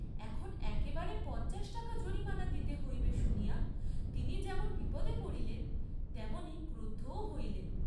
এখন একেবারে পঞ্চাশ টাকা জরিমানা দিতে হইবে শুনিয়া তিনি যেমন বিপদে পড়লেন তেমনি ক্রুদ্ধও হইলেন।